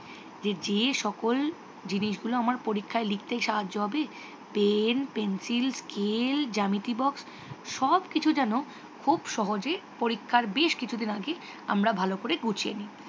J যে সকল জিনিসগুল আআয় পরীক্ষায় লিখতে সাহাজ্য করবে পেন পেন্সিল স্কেল জ্যামিতি বক্স সবকিছু যেন খুব সহজে পরীক্ষার বেশ কিছুদিন আগে আমরা ভালো করে গুছিয়ে নি।